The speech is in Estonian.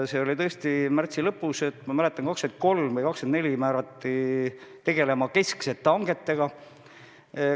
See oli märtsi lõpus, ma mäletan, kas 23. või 24. märtsil määrati mind tegelema kesksete hangetega.